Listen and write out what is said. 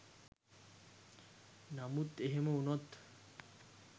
නමුත් එහෙම උනොත්